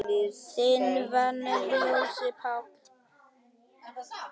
Þinn vinur, Jónas Páll.